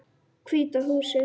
Hvíta húsið.